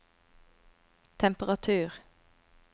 temperatur